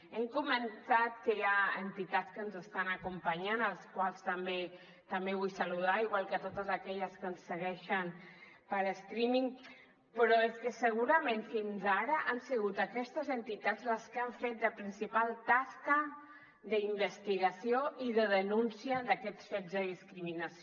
hem comentat que hi ha entitats que ens estan acompanyant a les quals també vull saludar igual que a totes aquelles que ens segueixen per streaming però és que segurament fins ara han sigut aquestes entitats les que han fet la principal tasca d’investigació i de denúncia d’aquests fets de discriminació